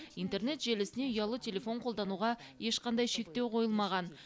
интернет желісіне ұялы телефон қолдануға ешқандай шектеу қойылмаған